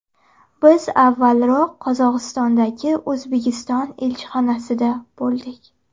Biz avvalroq Qozog‘istondagi O‘zbekiston elchixonasida bo‘ldik.